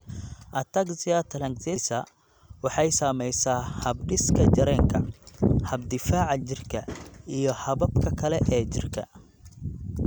Ataxia telangiectasia waxay saamaysaa habdhiska dareenka, habka difaaca jirka, iyo hababka kale ee jidhka.